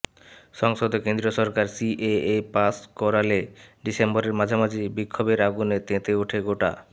সংসদে কেন্দ্রীয় সরকার সিএএ পাশ করালে ডিসেম্বরের মাঝামাঝি বিক্ষোভের আগুনে তেতে ওঠে গোটা